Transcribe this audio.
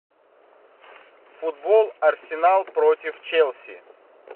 футбол арсенал против челси